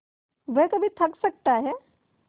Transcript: वह कभी थक सकता है